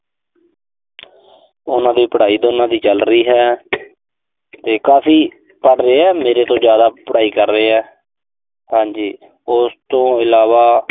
ਉਨ੍ਹਾਂ ਦੀ ਪੜਾਈ ਦੋਨਾਂ ਦੀ ਚੱਲ ਰਹੀ ਹੈ। ਤੇ ਕਾਫ਼ੀ ਪੜ ਰਹੇ ਆ। ਮੇਰੇ ਤੋਂ ਜ਼ਿਆਦਾ ਪੜਾਈ ਕਰ ਰਹੇ ਆ। ਹਾਂਜੀ, ਉਸ ਤੋਂ ਇਲਾਵਾ